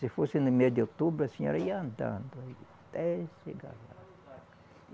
Se fosse no mês de outubro, a senhora ia andando até chegar lá.